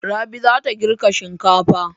Rabi za ta girka shinkafa.